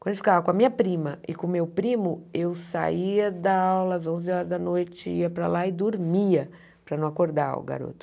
Quando ele ficava com a minha prima e com o meu primo, eu saía da aula às onze horas da noite, ia para lá e dormia para não acordar o garoto.